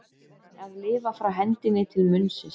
Að lifa frá hendinni til munnsins